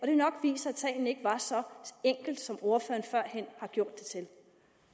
det nok viser at tingene ikke var så enkle som ordføreren førhen har gjort dem til